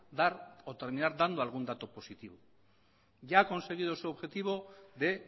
dar o terminar dando algún dato positivo ya ha conseguido su objetivo de